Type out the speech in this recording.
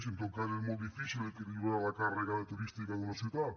i en tot cas és molt difícil equilibrar la càrrega turística d’una ciutat